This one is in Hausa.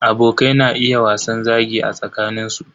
Abokai na iya wasan zagi a tsakanin su.